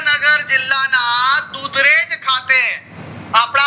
નગર ના જીલ્લા ના દૂધરેજ ખાતે અપડા